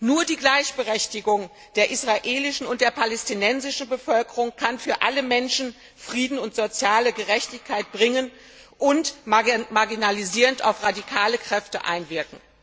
Nur die Gleichberechtigung der israelischen und der palästinensischen Bevölkerung kann für alle Menschen Frieden und soziale Gerechtigkeit bringen und marginalisierend auf radikale Kräfte einwirken.